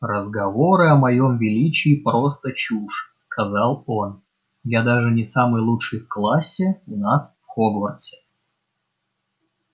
разговоры о моем величии просто чушь сказал он я даже не самый лучший в классе у нас в хогвартсе